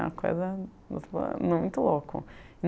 Uma coisa muito louca.